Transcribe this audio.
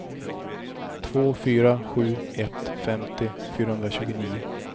två fyra sju ett femtio fyrahundratjugonio